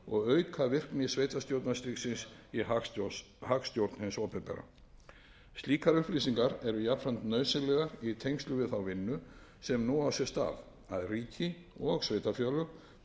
og auka virkni sveitarstjórnarstigsins í hagstjórn hins opinbera slíkar upplýsingar eru jafnframt nauðsynlegar í tengslum við vinnuna sem nú á sér stað að ríki og sveitarfélög geri með sér árlegan